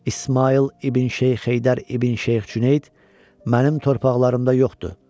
İsmayıl ibn Şeyx Heydər ibn Şeyx Cüneyd mənim torpaqlarımda yoxdur.